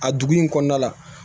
A dugu in kɔnɔna la